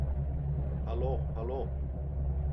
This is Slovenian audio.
Halo, halo.